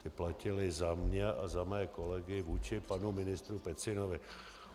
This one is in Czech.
Ty platily za mě a za mé kolegy vůči panu ministru Pecinovi.